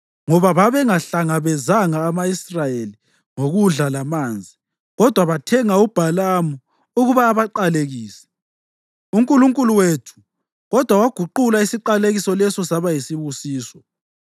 ngoba babengahlangabezanga ama-Israyeli ngokudla lamanzi kodwa bathenga uBhalamu ukuba abaqalekise. (UNkulunkulu wethu kodwa waguqula isiqalekiso leso saba yisibusiso.)